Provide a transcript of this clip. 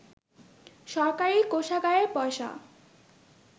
সরকারি কোষাগারের পয়সা